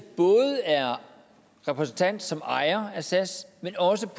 både er repræsentant som ejer af sas men også